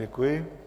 Děkuji.